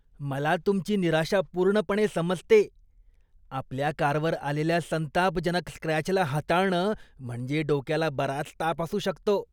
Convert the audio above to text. मला तुमची निराशा पूर्णपणे समजते. आपल्या कारवर आलेल्या संतापजनक स्क्रेपला हाताळणं म्हणजे डोक्याला बराच ताप असू शकतो.